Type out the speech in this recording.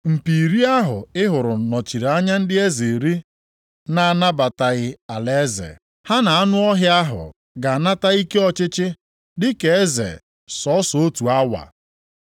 “Mpi iri ahụ ị hụrụ nọchiri anya ndị eze iri na-anatabeghị alaeze. Ha na anụ ọhịa ahụ ga-anata ike ọchịchị dịka eze sọọsọ otu awa.